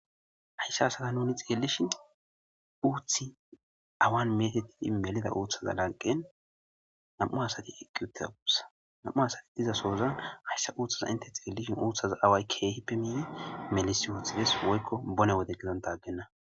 hayssa hasata nuni xeelishin uuthi awan metettidi melida uuthaza lanqen nam7u hasati eqqi uttiza uussa nam7u hasati diza soozan hayssa uuthaza inte xeelishin uuththaza away keehippe miiye melis uuthides woykko bone wode gizanta aggenna